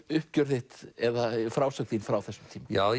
uppgjör þitt eða frásögn þín frá þessum tíma já